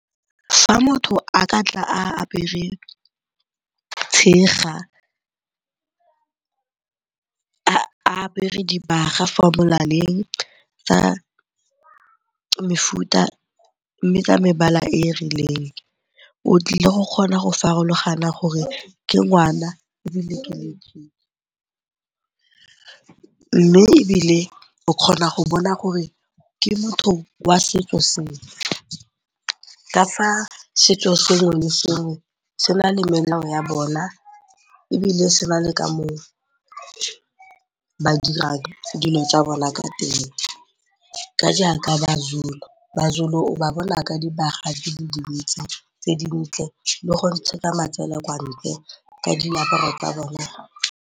Fa motho a ka tla a apere tshega, a apere dibaga fo molaleng tsa mefuta mme ka mebala e e rileng, o tlile go kgona go farologanya gore ke ngwana ebile ke letšitši. Mme ebile o kgona go bona gore ke motho wa setso sefe ka fa setso sengwe le sengwe se na le melao ya bona ebile se na le ka moo ba dirang dilo tsa bona ka teng. Ka jaaka maZulu, maZulu o ba bona ka dibaga di le dintsi tse dintle le go ntshetsa matsele kwa ntle ka diaparo tsa bona.